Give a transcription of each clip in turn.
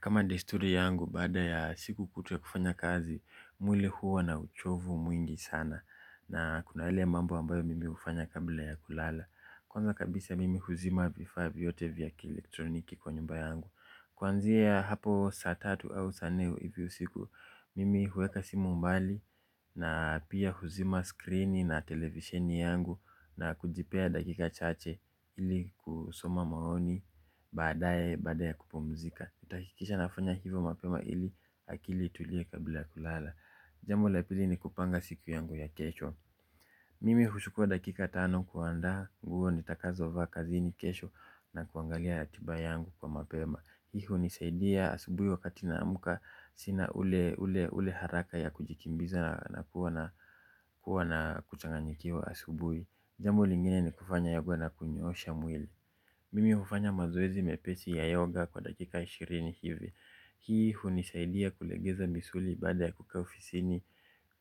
Kama desturi yangu, baada ya siku kutwa ya kufanya kazi, mwili huwa na uchovu mwingi sana. Na kuna yale mambo ambayo mimih ufanya kabla ya kulala. Kwanza kabisa mimi huzima vifaa vyote vya kielektroniki kwa nyumba yangu. Kwanzia hapo saa tatu au saa nne hivi usiku, mimi huweka simu mbali na pia huzima screen na television yangu na kujipea dakika chache ili kusoma maoni baada ya kupumzika. Nitahakikisha nafanya hivyo mapema ili akili itulie kabla ya kulala. Jambo la pili ni kupanga siku yangu ya kesho. Mimi huchukua dakika tano kuandaa nguo nitakazovaa kazini kesho na kuangalia ratiba yangu kwa mapema. Hii hunisaidia asubui wakati naamuka sina ule haraka ya kujikimbiza na kuwa na kuchanganyikiwa asubuhi. Jambo lingine ni kufanya yoga na kunyoosha mwili. Mimi hufanya mazoezi mepesi ya yoga kwa dakika ishirini hivi. Hii hunisaidia kulegeza misuli baada ya kukaa ufisini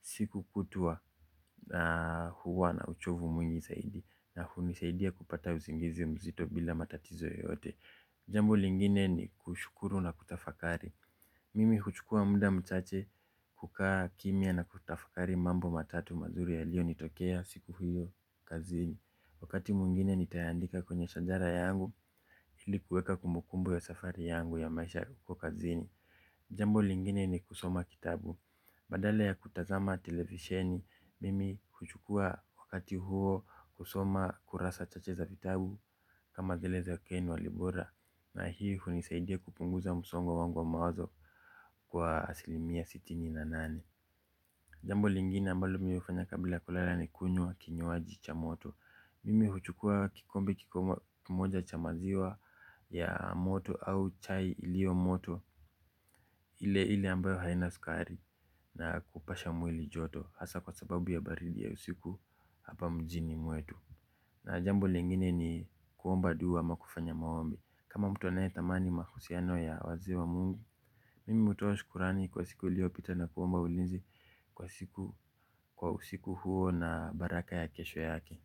siku kutwa na huwa na uchovu mwingi zaidi na hunisaidia kupata usingizi mzito bila matatizo yoyote. Jambo lingine ni kushukuru na kutafakari. Mimi huchukua muda mchache kukaa kimya na kutafakari mambo matatu mazuri yalionitokea siku hiyo kazini. Wakati mwingine nitayaandika kwenye shajara yangu ili kuweka kumbukumbu ya safari yangu ya maisha huko kazini. Jambo lingine ni kusoma kitabu. Badala ya kutazama televisioni, mimi huchukua wakati huo kusoma kurasa chache za vitabu kama vile za Ken Walibora. Na hii hunisaidia kupunguza msongo wangu wa mawazo kwa asilimia sitini na nane. Jambo lingine ambalo mimi hufanya kabila ya kulala ni kunywa kinywaji cha moto. Mimi huchukua kikombe kikubwa kimoja cha maziwa ya moto au chai ilio moto ile ile ambayo haina sukari. Na kupasha mwili joto hasaa kwa sababu ya baridi ya usiku hapa mjini mwetu na jambo lingine ni kuomba dua ama kufanya maombi kama mtu anaetamani mahusiano ya wazi wa mungu mimi hutoa shukurani kwa siku iliyopita na kuomba ulinzi kwa usiku huo na baraka ya kesho yake.